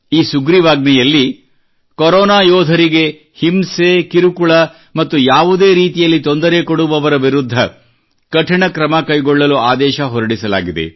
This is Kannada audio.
ಈ ಸುಗ್ರೀವಾಜ್ಞೆಯಲ್ಲಿ ಕರೋನಾ ಯೋಧರಿಗೆ ಹಿಂಸೆ ಕಿರುಕುಳ ಮತ್ತು ಯಾವುದೇ ರೀತಿಯಲ್ಲಿ ತೊಂದರೆ ಕೊಡುವವರ ವಿರುದ್ಧ ಕಠಿಣ ಕ್ರಮ ಕೈಗೊಳ್ಳಲು ಆದೇಶ ಹೊರಡಿಸಲಾಗಿದೆ